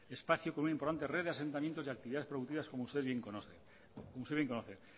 espacio con una importante red de asentamientos y actividades producidas como usted bien conoce